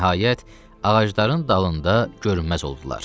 Nəhayət, ağacların dalında görünməz oldular.